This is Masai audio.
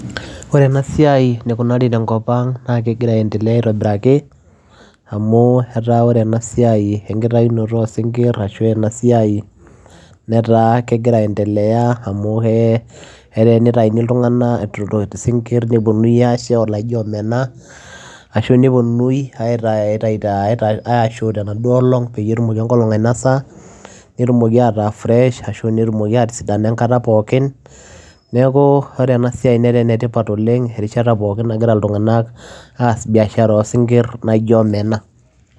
Oree enaa siai enikunarii tenkop ang naa kegiraa andelea aitobirakii amuu etaa oree ena siai enkitayunotoo oo sinkir netaa kigiraa andelea amuu etaa tenitayuni isingirr nepuonunui aashe tekolong netumoki aataa fresh neeku Ore ena siai neetaa ene tipat oleng erishata pookin naagira ilntunganak as biashara ooo sinkir naijo omena